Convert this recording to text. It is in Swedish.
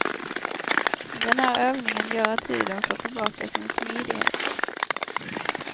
Den här övningen gör att huden får tillbaka sin smidighet.